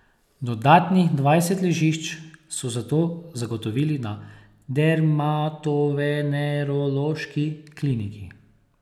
Dodatnih dvajset ležišč so zato zagotovili na Dermatovenerološki kliniki.